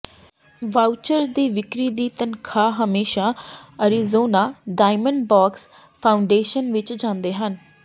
vouchers ਦੀ ਵਿਕਰੀ ਦੇ ਤਨਖ਼ਾਹ ਹਮੇਸ਼ਾ ਅਰੀਜ਼ੋਨਾ ਡਾਇਮੰਡਬਾਕਸ ਫਾਊਂਡੇਸ਼ਨ ਵਿੱਚ ਜਾਂਦੇ ਹਨ